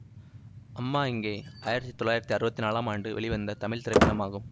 அம்மா எங்கே ஆயிரத்தி தொள்ளாயிரத்தி அறுபத்தி நாளாம் ஆண்டு வெளிவந்த தமிழ் திரைப்படமாகும்